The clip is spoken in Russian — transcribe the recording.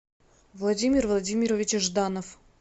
владимир владимирович жданов